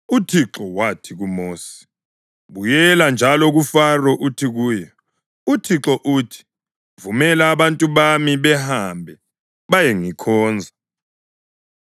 UThixo wathi kuMosi, “Buyela njalo kuFaro uthi kuye, ‘ UThixo uthi, Vumela abantu bami bahambe bayengikhonza.